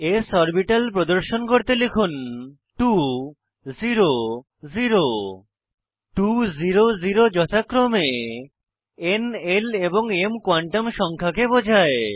s orbital প্রদর্শন করতে লিখুন 2 0 0 2 0 0 যথাক্রমে ন l এবং m কোয়ান্টাম সংখ্যাকে বোঝায়